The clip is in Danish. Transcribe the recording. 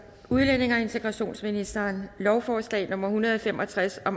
udlændinge og integrationsministeren lovforslag nummer hundrede og fem og tres og